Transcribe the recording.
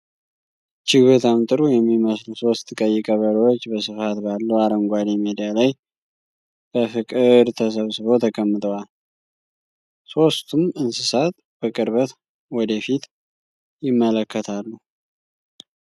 እጅግ በጣም ጥሩ የሚመስሉ ሦስት ቀይ ቀበሮዎች በስፋት ባለው አረንጓዴ ሜዳ ላይ በፍቅር ተሰብስበው ተቀምጠዋል። ሦስቱም እንስሳት በቅርበት ወደ ፊት ይመለከታሉ።